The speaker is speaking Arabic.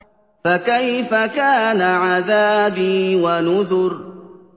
فَكَيْفَ كَانَ عَذَابِي وَنُذُرِ